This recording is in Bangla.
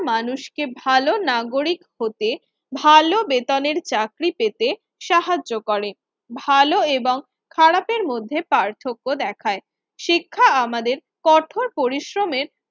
মানুষকে ভালো নাগরিক হতে, ভালো বেতনের চাকরি পেতে সাহায্য করে। ভালো এবং খারাপের মধ্যে পার্থক্য দেখায়। শিক্ষা আমাদের কঠোর পরিশ্রমের